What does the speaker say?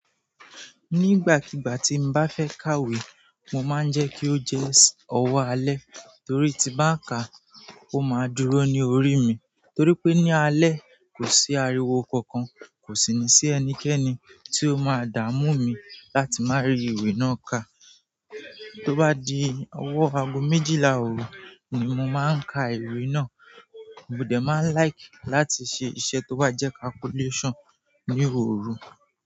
Nígbàkigbà tí n bá fẹ́ ka ìwé, mo máa ń jẹ́ kí ó jẹ́ ọwọ́ alẹ́ torí tí bá ń ka, ó máa dúró ní orí mi. Torí pé ní alẹ́ kò sí ariwo kankan, kò sì ní sí ẹnikẹ́ni tí ó máa dààmú mi láti máa rí ìwé náà ká. Tó bá di ọwọ́ ago méjìlá òru ni mo máa ń ka ìwé náà. Mo dẹ́ máa n like láti ṣe iṣẹ́ tó bá jẹ́ calculation ní òru.